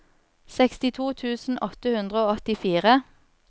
sekstito tusen åtte hundre og åttifire